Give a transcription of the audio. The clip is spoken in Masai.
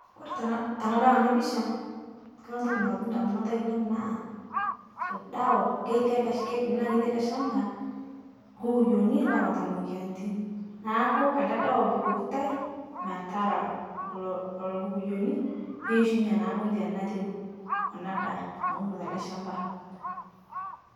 Kore tana tanadol ana pisha, Kore ntoki nalotu ndamunot ainen naa ldawa keti ale sha keidim naa ketii ale shamba ,lkukuyoni loata moyianitin naaku ale dawa ebukokitai metara lo Lolo kukuyoni peishunye naa moyian natii ana daa nauno tale shamba.